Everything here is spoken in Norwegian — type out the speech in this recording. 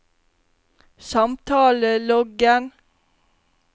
samtaleloggen